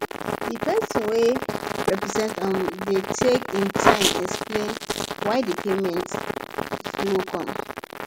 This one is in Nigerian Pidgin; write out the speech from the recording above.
di person wey represent um dem take im time explain why di payment slow come